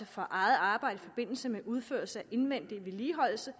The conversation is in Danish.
for eget arbejde i forbindelse med udførelse af indvendig vedligeholdelse